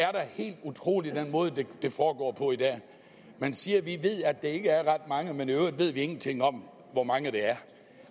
er da helt utroligt med den måde det foregår på i dag man siger vi ved at det ikke er ret mange men i øvrigt ved vi ingenting om hvor mange det er